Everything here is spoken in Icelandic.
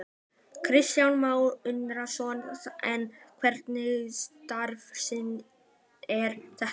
Kristján Már Unnarsson: En hverslags starfsemi er þetta?